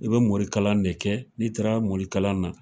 I be morikala de kɛ n'i taara morikala na.